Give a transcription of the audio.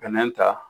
Bɛnɛ ta